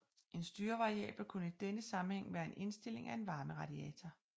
En styrevariabel kunne i denne sammenhæng være en indstilling af en varmeradiator